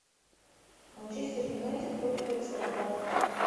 манчестер юнайтед против аристократов